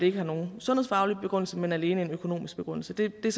ikke er nogen sundhedsfaglig begrundelse men alene en økonomisk begrundelse det er